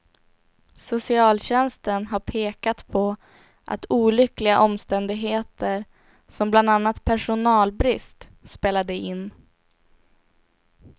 Socialtjänsten har pekat på att olyckliga omständigheter som bland annat personalbrist spelade in.